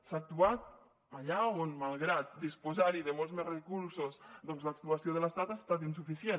s’ha actuat allà on malgrat disposar hi de molts més recursos doncs l’actuació de l’estat ha estat insuficient